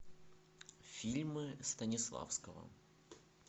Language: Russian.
фильмы станиславского